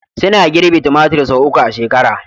Suna girbi tumatir sau uku a shekara